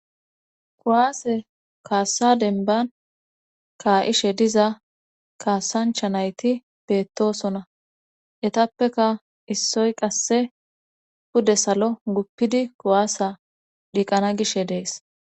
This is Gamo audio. Kuwaase kaassa denban kaa'ishe diza kaasancha nayti beettosona etappeka issoy qasse pude salo guppidi kuwaasa dhiiqana gishe dees.